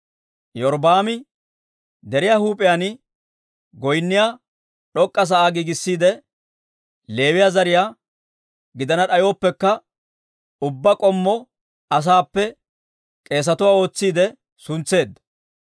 Iyorbbaami deriyaa huup'iyaan goynniyaa d'ok'k'a sa'aa giigissiide Leewiyaa zariyaa gidana d'ayooppekka, ubbaa k'ommo asaappe k'eesatuwaa ootsiidde suntseedda.